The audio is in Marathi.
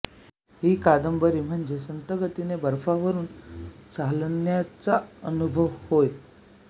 ही कादंबरी म्हणजे संथगतीने बर्फावरून चालण्याचा अनुभव होय